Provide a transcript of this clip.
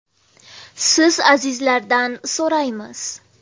Siz, azizlardan so‘raymiz.